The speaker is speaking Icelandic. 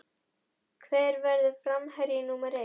Hver verður framherji númer eitt?